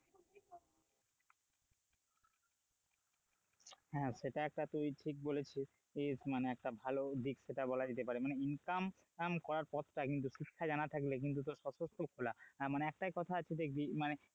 হ্যাঁ সেটা একটা তুই ঠিক বলেছিস মানে একটা ভালো দিক সেটা বলা যেতে পারে মানে income করার পথটা কিন্তু ঠিকঠাক জানা থাকলে কিন্তু তোর সশস্ত্র খোলা মানে একটা কথা আছেই দেখবি,